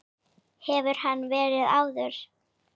Hefur hann verið áður?